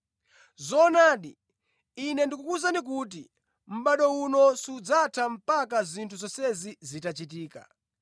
“Zoonadi, Ine ndikukuwuzani kuti mʼbado uno sudzatha mpaka zinthu zonsezi zitachitika.